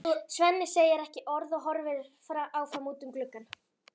Svenni segir ekki orð og horfir áfram út um gluggann.